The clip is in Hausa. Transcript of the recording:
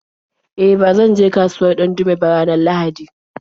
E, ba zan je kasuwar Dandume ba ranar Laraba.